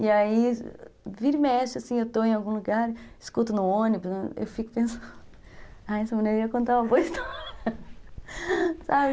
E aí, vira e mexe, assim, eu estou em algum lugar, escuto no ônibus, eu fico pensando, essa mulher ia contar uma boa história.